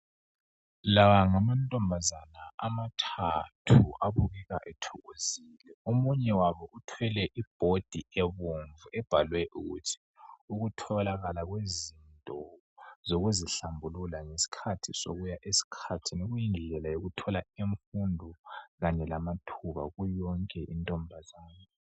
Lawa ngamantombazana amathathu abukeka ethokozile omunye wabo uthwele ibhodi ebomvu ebhalwe ukuthi ukutholakala kwezinto zokuzihlambulula ngesikhathi sokuya esikhathini kuyindlela yokuthola imfundo kanye lamathuba kuyo yonke intombazane.